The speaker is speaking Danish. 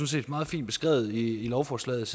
set meget fint beskrevet i lovforslaget